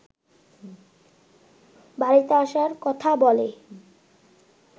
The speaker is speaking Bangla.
বাড়িতে আসার কথা বলে